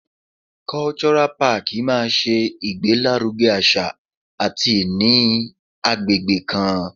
Cultural park máa ṣe ìgbé lárugẹ àṣà àti ìní agbègbè kan.